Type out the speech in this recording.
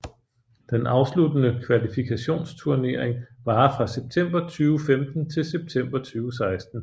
Den afsluttende kvalifikationsturnering varer fra september 2015 til september 2016